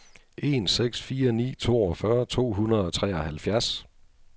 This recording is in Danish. en seks fire ni toogfyrre to hundrede og treoghalvfjerds